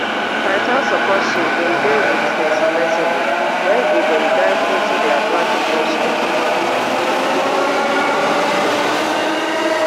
titan support ship bin dey wit di submersible wen e bin dey dive into di atlantic ocean